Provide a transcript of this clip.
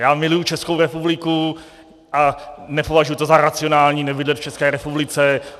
Já miluji Českou republiku a nepovažuji to za racionální nebydlet v České republice.